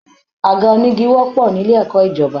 Àga onígi wọ́pọ̀ nílé ẹ̀kọ́ ìjọba.